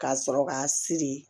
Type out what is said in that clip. Ka sɔrɔ k'a siri